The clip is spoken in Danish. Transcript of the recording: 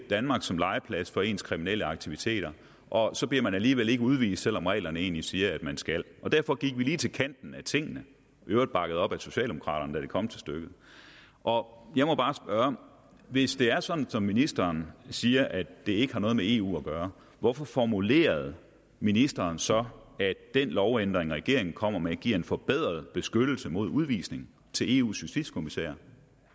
danmark som legeplads for ens kriminelle aktiviteter og så bliver man alligevel ikke udvist selv om reglerne egentlig siger at man skal derfor gik vi lige til kanten af tingene i øvrigt bakket op af socialdemokraterne da det kom til stykket og jeg må bare spørge hvis det er sådan som ministeren siger nemlig at det ikke har noget med eu at gøre hvorfor formulerede ministeren så at den lovændring regeringen kommer med giver en forbedret beskyttelse mod udvisning til eus justitskommissær